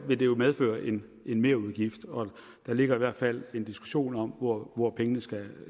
vil det jo medføre en merudgift og der ligger i hvert fald en diskussion om hvor hvor pengene skal